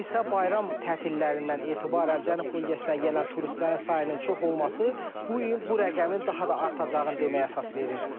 Bu il isə bayram tətilərindən etibarən Cənub bölgəsinə gələn turistlərin sayının çox olması bu il bu rəqəmin daha da artacağını deməyə əsas verir.